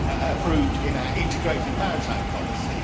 approved in our integrated maritime policy.